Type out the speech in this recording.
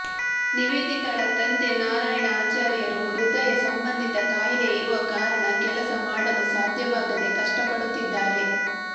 ನಿವೇದಿತಳ ತಂದೆ ನಾರಾಯಣ ಆಚಾರ್ಯರು ಹೃದಯ ಸಂಬಂಧಿತ ಕಾಯಿಲೆ ಇರುವ ಕಾರಣ ಕೆಲಸ ಮಾಡಲು ಸಾಧ್ಯವಾಗದೇ ಕಷ್ಟಪಡುತ್ತಿದ್ದಾರೆ